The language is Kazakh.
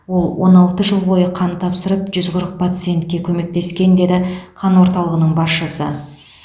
ол он алты жыл бойы қан тапсырып жүз қырық пациентке көмектескен деді қан орталығының басшысы